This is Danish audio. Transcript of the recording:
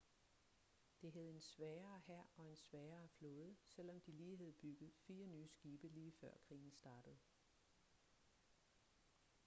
det havde en svagere hær og en svagere flåde selvom de lige havde bygget fire nye skibe lige før krigen startede